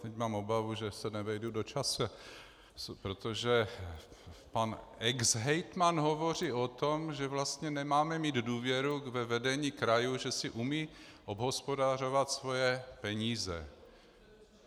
Teď mám obavu, že se nevejdu do času, protože pan exhejtman hovoří o tom, že vlastně nemáme mít důvěru ve vedení krajů, že si umí obhospodařovat svoje peníze.